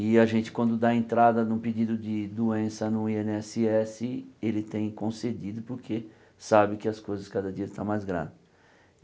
E a gente quando dá entrada num pedido de doença no í êne ésse ésse, ele tem concedido porque sabe que as coisas cada dia estão mais grave.